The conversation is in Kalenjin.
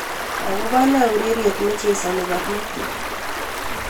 Akobo ne ureriet nechesani barnotik?